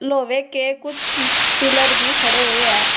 लोहे के कुछ पिलर भी खड़े हुए हैं और--